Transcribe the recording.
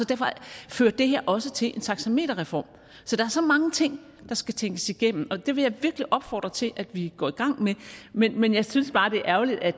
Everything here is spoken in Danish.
derfor fører det her også til en taxameterreform så der er så mange ting der skal tænkes igennem og det vil jeg virkelig opfordre til at vi går i gang med men jeg synes bare det er ærgerligt at